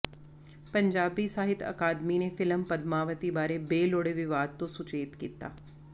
ਪੰਜਾਬੀ ਸਾਹਿਤ ਅਕਾਦਮੀ ਨੇ ਫ਼ਿਲਮ ਪਦਮਾਵਤੀ ਬਾਰੇ ਬੇਲੋੜੇ ਵਿਵਾਦ ਤੋਂ ਸੁਚੇਤ ਕੀਤਾ